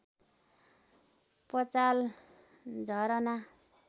Pachal Jharna